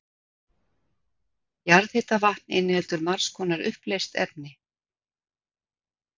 Jarðhitavatn inniheldur margs konar uppleyst efni.